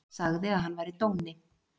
Sagði að hann væri dóni.